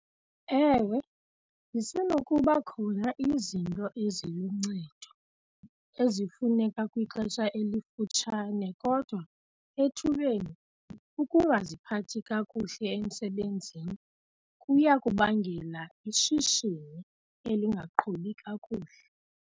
Ewe, zisenokuba khona izinto eziluncedo ezifumaneka kwixesha elifutshane kodwa ethubeni ukungaziphathi kakuhle emsebenzini kuya kubangela ishishini elingaqhubi kakuhle.